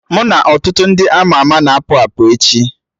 Mụ na ọtụtụ ndị ama ama na-apụ apụ echi